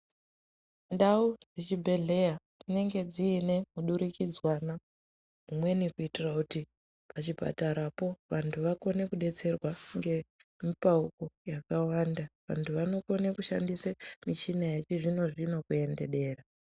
Ndau dzechibhedleya dzinenge dzine hudurukidzwana imweni kuitira kuti pachipatara po vantu vakone kudetserwa ngemupawo yakawanda vantu vanokone kushandise michina yechizvino zvino kuenderera.